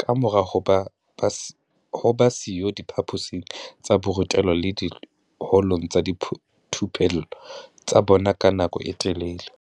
kamora ho ba siyo diphaposing tsa borutelo le diholong tsa dithupello tsa bona ka nako e telele.